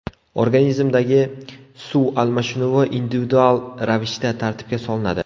Organizmdagi suv almashinuvi individual ravishda tartibga solinadi.